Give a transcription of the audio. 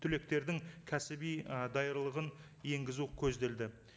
түлектердің кәсіби ы даярлығын енгізу көзделді